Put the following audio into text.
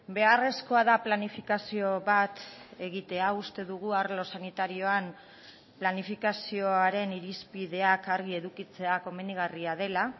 beharrezkoa da planifikazio bat egitea uste dugu arlo sanitarioan planifikazioaren irizpideak argi edukitzea komenigarria dela